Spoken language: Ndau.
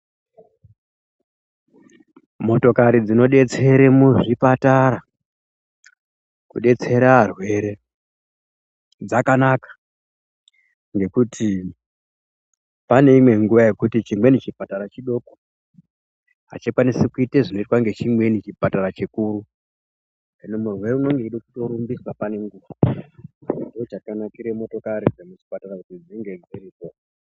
Motokari dzino detsere muzvipatara kudetsera arwere dzakanaka ngokuti pane imweni inguva yekuti chipatatra chidoko achikwanisi kuita zvinoitwa ngechimweni chipatara chikuru . Hino murwere unenge weida kutorumbiswa paine nguwa ngokuti ndoo chakanakire motokari dzemuchipatara kuti dzinge dziripo.